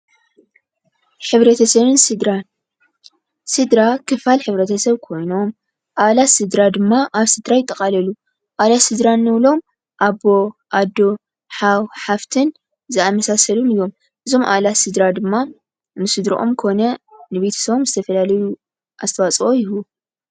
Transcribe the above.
ሕብረተሰብን ስድራን -ስድራ ክፋል ሕብረተሰብ ኮይኑ ኣባላት ስደራ ድማ ኣብ ስድራ ይጠቃለሉ። ኣባላት ስደራ እንብሎም አቦ፣ ኣዶ፣ ሓው፣ ሓፍቲን ዝኣመሳሰሉ እዮም። እዞም ኣባላት ስድራ ድማ ንስደረኦም ኮነ ንቤተሰቦም ዝተፈላለዩ ኣስተዋፅኦ ይህቡ።